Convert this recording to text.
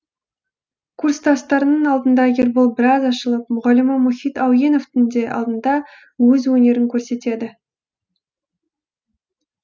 курстастарының алдында ербол біраз ашылып мұғалімі мұхит әуеновтің де алдында өз өнерін көрсетеді